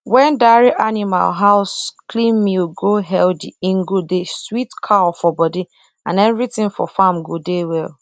wen dairy animal house clean milk go healthy e go dey sweet cow for body and everything for farm go de well